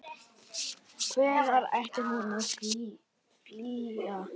Hvern ætti hún að flýja?